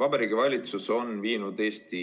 Vabariigi Valitsus on viinud Eesti